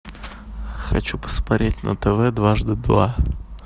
хочу посмотреть на тв дважды два